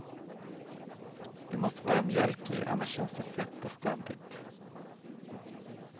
Det måste vara mjölk i, annars känns det fett och stabbigt.